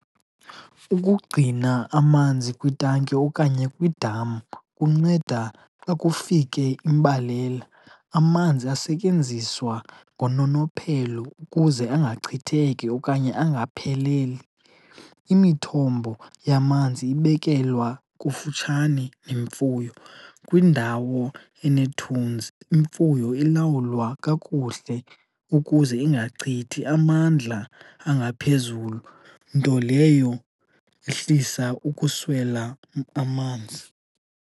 Ukugcina amanzi kwitanki okanye kwidam kunceda xa kufike imbalela. Amanzi asetyenziswa ngononophelo ukuze angachitheki okanye angapheleli. Imithombo yamanzi ibekelwa kufutshane nemfuyo kwindawo enethunzi. Imfuyo ilawulwa kakuhle ukuze ingachithi amandla angaphezulu, nto leyo ihlisa ukuswela amanzi.